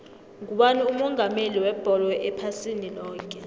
ngubani umongameli webholo ephasini loke